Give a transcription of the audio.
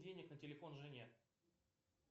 денег на телефон жене